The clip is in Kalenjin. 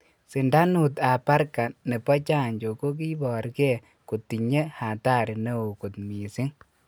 Sindanut ap parka nepo chanjo ko kiipor ge kotinye hatari neo kot missing